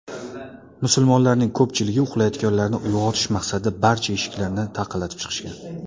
Musulmonlarning ko‘pchiligi uxlayotganlarni uyg‘otish maqsadida barcha eshiklarni taqillatib chiqishgan.